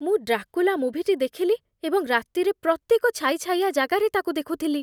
ମୁଁ ଡ୍ରାକୁଲା ମୁଭିଟି ଦେଖିଲି ଏବଂ ରାତିରେ ପ୍ରତ୍ୟେକ ଛାଇଛାଇଆ ଜାଗାରେ ତାକୁ ଦେଖୁଥିଲି।